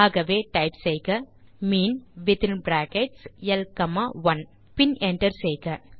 ஆகவே டைப் செய்க mean within brackets ல் காமா 1 பின் என்டர் செய்க